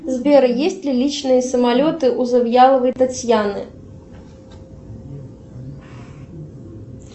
сбер есть ли личные самолеты у завьяловой татьяны